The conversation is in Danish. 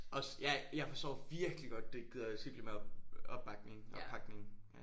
Også ja jeg forstår virkelig godt du ikke gider cykle med op opbakning oppakning ja